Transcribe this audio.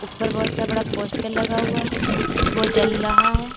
ऊपर बहुत सा बड़ा पोस्टर लगा हुआ है वो जल रहा है।